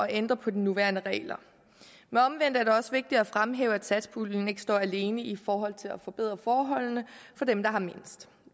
ændre på de nuværende regler men omvendt er det også vigtigt at fremhæve at satspuljen ikke står alene i forhold til at forbedre forholdene for dem der har mindst